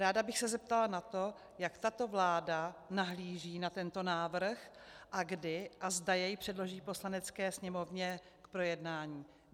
Ráda bych se zeptala na to, jak tato vláda nahlíží na tento návrh a kdy a zda jej předloží Poslanecké sněmovně k projednání.